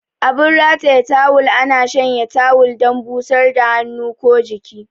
Abin rataye tawul ana shanya tawul dan busar da hannu ko jiki.